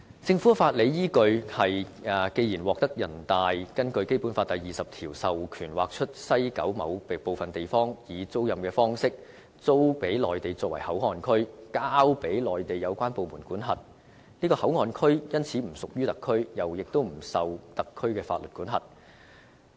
政府的法理依據：既然獲人大根據《基本法》第二十條授權劃出西九某部分地方，以租賃方式給內地作為口岸區，交予內地有關部門管轄，該口岸區因此已不屬於特區，不受特區法律管轄。